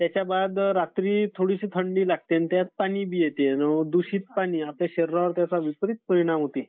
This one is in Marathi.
त्याच्याबद रात्री थोडीशी थंडी लागते. आणि त्यात पाणी बी येते. दूषित पाणी आपल्या शरीरावर त्याचा विपरीत परिणाम होते.